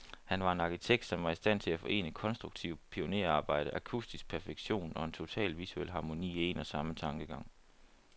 Her var en arkitekt, som var i stand til at forene konstruktivt pionerarbejde, akustisk perfektion, og en total visuel harmoni, i en og samme tankegang.